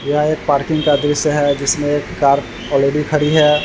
यह एक पार्किंग का दृश्य है जिसमे एक कार ऑलरेडी खड़ी है।